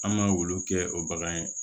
An ma olu kɛ o bagan ye